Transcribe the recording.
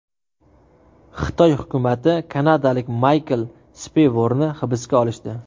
Xitoy hukumati kanadalik Maykl Speyvorni hibsga olishdi.